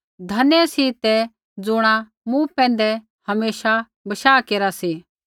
धन्य सी तै ज़ुणा मूँ पैंधै हमेशा बशाह केरा सी